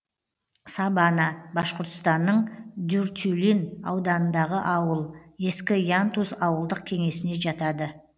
сабана башқұртстанның дюртюлин ауданындағы ауыл ескі янтуз ауылдық кеңесіне жатады